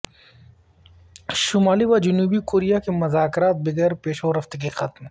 شمالی و جنوبی کوریا کے مذاکرات بغیر پیش رفت کے ختم